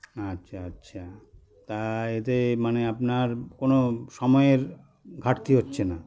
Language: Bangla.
আচ্ছা আচ্ছা তাআ এতে মানে আপনার কোনো সময়ের ঘাটতি হচ্ছেনা